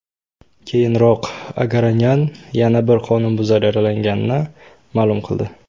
Keyinroq Agaronyan yana bir qonunbuzar yaralanganini ma’lum qildi.